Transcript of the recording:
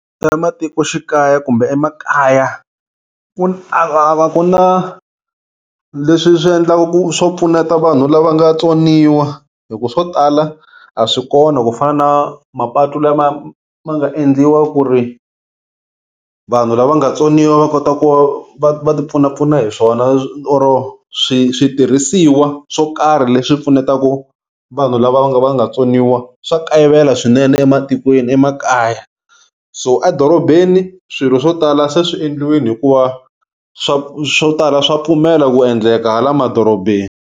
Ematikoxikaya kumbe emakaya ku na leswi swi endlaka ku swo pfuneta vanhu lava nga tswoniwa hi ku swo tala a swi kona ku fana na mapatu lama ma nga endliwa ku ri vanhu lava nga vatsoniwa va kota ku va va ti pfunapfuna hi swona or switirhisiwa swo karhi leswi pfunetaka vanhu lava va nga va nga tsoniwa swa kayivela swinene ematikweni emakaya so edorobeni swilo swo tala se swi endliweni hikuva swa swo tala swa pfumela ku endleka hala madorobeni.